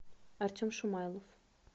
артем шумайлов